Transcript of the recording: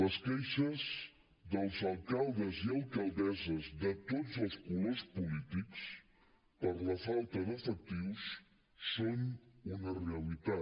les queixes dels alcaldes i alcaldesses de tots els colors polítics per la falta d’efectius són una realitat